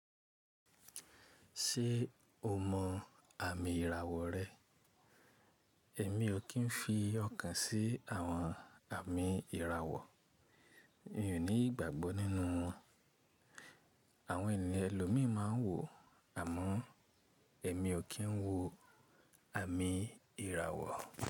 Ṣé o mọ àmì ìràwọ̀ rẹ? Ẹ̀mí ò kí ń fi ọkàn sí àwọn àmì ìràwọ̀. Mi ò ní ìgbàgbọ́ nínú wọn. Àwọn ènìyàn ẹlòmíì máa ń wò àmọ́ Ẹ̀mí ò kí ń wo àmì ìràwọ̀.